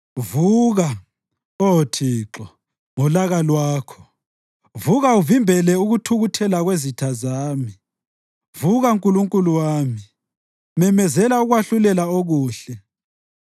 Vuka, Oh Thixo, ngolaka lwakho; vuka uvimbele ukuthukuthela kwezitha zami. Vuka, Nkulunkulu wami, memezela ukwahlulela okuhle.